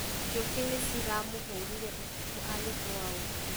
Njũkĩ nĩ ciramũhũrire ũtukũ agĩthũa ũũkĩ